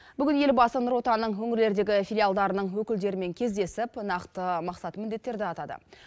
бүгін елбасы нұр отан ның өңірлердегі филиалдарының өкілдерімен кездесіп нақты мақсат міндеттерді атады